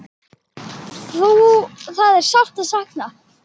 Það er sárt sakna.